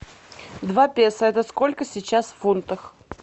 два песо это сколько сейчас в фунтах